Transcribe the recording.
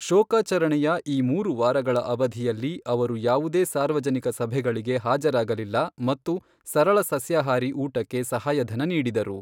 ಶೋಕಾಚರಣೆಯ ಈ ಮೂರು ವಾರಗಳ ಅವಧಿಯಲ್ಲಿ, ಅವರು ಯಾವುದೇ ಸಾರ್ವಜನಿಕ ಸಭೆಗಳಿಗೆ ಹಾಜರಾಗಲಿಲ್ಲ ಮತ್ತು ಸರಳ ಸಸ್ಯಾಹಾರಿ ಊಟಕ್ಕೆ ಸಹಾಯಧನ ನೀಡಿದರು.